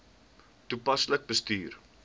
toepaslik bestuur